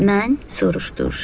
Mən, soruşdu uşaq.